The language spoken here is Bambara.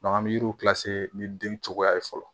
an bɛ yiriw ni den cogoya ye fɔlɔ